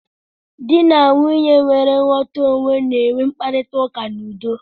Di na Nwunye nwere nghọta onwe na-enwe mkparita ụka n'udo.